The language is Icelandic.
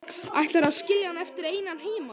Ætlarðu að skilja hann eftir einan heima?